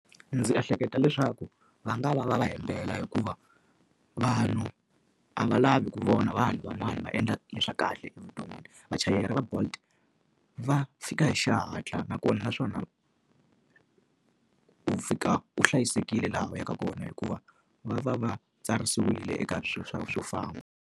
Ndzi ehleketa leswaku va nga va va va hembela hikuva vanhu a va lavi ku vona vanhu van'wana va endla le swa kahle evuton'wini. Vachayeri va Bolt, va fika hi xihatla nakona naswona ku fika u hlayisekile laha u yaka kona hikuva va va va tsarisiwile eka swo famba